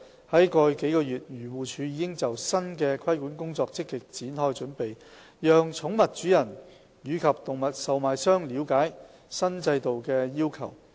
在過去數月，漁護署已就新的規管工作積極展開準備，讓寵物主人及動物售賣商了解新制度的要求。